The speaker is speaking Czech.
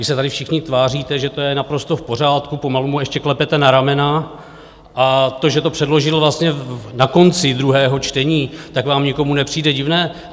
Vy se tady všichni tváříte, že to je naprosto v pořádku, pomalu mu ještě klepete na ramena, a to, že to předložil vlastně na konci druhého čtení, tak vám nikomu nepřijde divné.